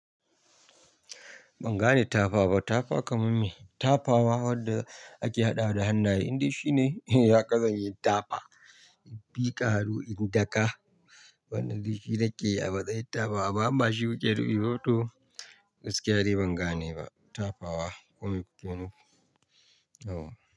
Ban gane tafa ba. Tafa kaman me? Tafawa wanda ake haɗawa da hannaye, inda shine ya hakazanyi tafa, miƙa hannu in daka. Wannan ldai shi nakeyi a matsayin tafa wa, amma imbashi kuke nufiba to, gaskiya dai ban gane ba. Tafawa kome ku ke nufi? Aw.